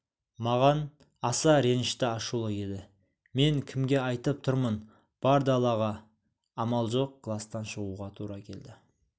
маған аса ренішті ашулы еді мен кімге айтып тұрмын бар далаға амал жоқ кластан шығуға тура келді